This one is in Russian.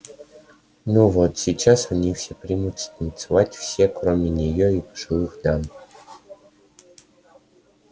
ну вот сейчас они все примутся танцевать все кроме нее и пожилых дам